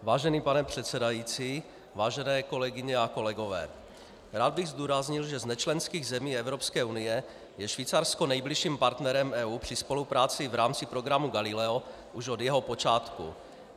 Vážený pane předsedající, vážené kolegyně a kolegové, rád bych zdůraznil, že z nečlenských zemí Evropské unie je Švýcarsko nejbližším partnerem EU při spolupráci v rámci programu Galileo už od jeho počátku.